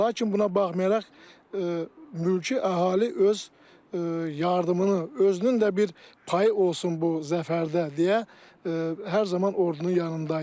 Lakin buna baxmayaraq mülki əhali öz yardımını, özünün də bir payı olsun bu zəfərdə deyə hər zaman ordunun yanında idi.